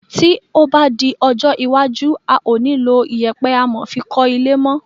Tí o ba di ọjọ́ iwájú a o ni lọ iyèpe amò fi kọ ilé mo